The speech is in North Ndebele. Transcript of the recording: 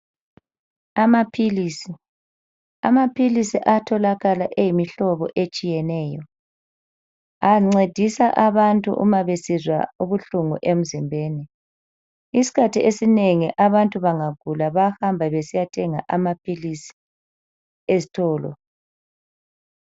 Amaphili. Amaphilisi ayatholakala eyimihlobo etshiyeneyo . Ancedisa abantu uma besizwa ubuhlungu emzimbeni. Iskhathi esinengi abantu bangagula bayahamba besiyathenga amaphilisi esitolo.